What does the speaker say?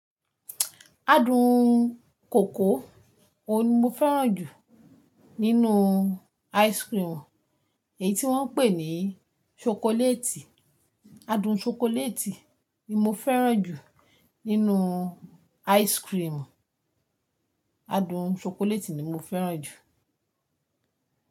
Adun koko, òun ni mo fẹ́ràn jù nínú ice cream, èyí tí wọ́n ń pè ní ṣokoléètì. Adun ṣokoléètì ni mo fẹ́ràn jù nínú ice cream. Adun ṣokoléètì ni mo fẹ́ràn jù.